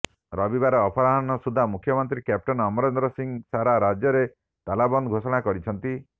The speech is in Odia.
ରବିବାର ଅପରାହ୍ନ ସୁଦ୍ଧା ମୁଖ୍ୟମନ୍ତ୍ରୀ କ୍ୟାପଟେନ ଅମରିନ୍ଦର ସିଂ ସାରା ରାଜ୍ୟରେ ତାଲାବନ୍ଦ ଘୋଷଣା କରିଛନ୍ତି